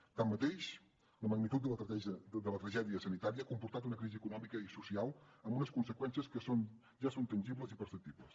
tanmateix la magnitud de la tragèdia sanitària ha comportat una crisi econòmica i social amb unes conseqüències que ja són tangibles i perceptibles